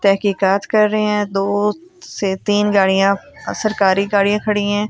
तहकीकात कर रे है दो से तीन गाड़िया अ सरकारी गाड़िया खड़ी है ।